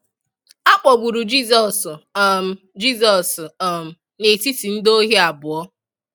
A kpogburu Jisọs um Jisọs um n’etiti ndị ohi abụọ.